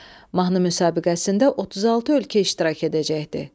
Mahnı müsabiqəsində 36 ölkə iştirak edəcəkdi.